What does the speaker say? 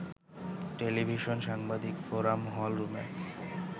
television সাংবাদিক forum hall রুমে